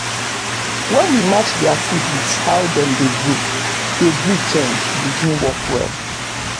for my farm na local yam wey sweet and dey last for store we dey dey plant.